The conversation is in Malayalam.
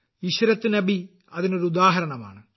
ഇശ്രത്ത് നബി അതിനൊരുദാഹരണമാണ്